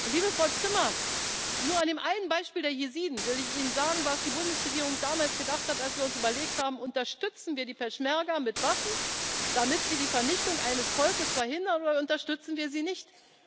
Liebe Frau Zimmer, nur an dem einen Beispiel der Jesiden will ich Ihnen sagen, was die Bundesregierung damals gedacht hat, als wir uns überlegt haben Unterstützen wir die Peschmerga mit Waffen, damit sie die Vernichtung eines Volkes verhindern, oder unterstützen wir sie nicht?